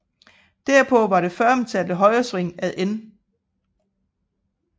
Derpå var det føromtalte højresving ad N